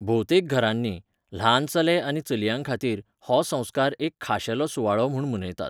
भोवतेक घरांनी, ल्हान चले आनी चलयांखातीर, हो संस्कार एक खाशेलो सुवाळो म्हूण मनयतात.